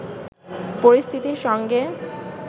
পরিস্থিতির সঙ্গে